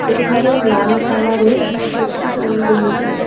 এখানে লাল কালার -এর একটি তুল রয়েছে।